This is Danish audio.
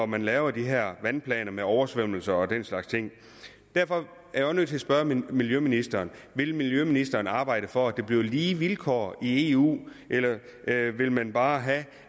man laver de her vandplaner med oversvømmelser og den slags ting derfor er jeg nødt til at spørge miljøministeren vil miljøministeren arbejde for at der bliver lige vilkår i eu eller vil man bare have